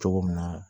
Cogo min na